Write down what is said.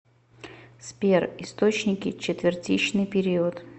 сбер источники четвертичный период